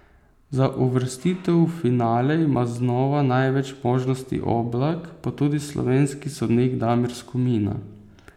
Za uvrstitev v finale ima znova največ možnosti Oblak, pa tudi slovenski sodnik Damir Skomina.